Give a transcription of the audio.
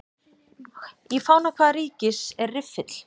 Í fána hvaða ríkis er riffill?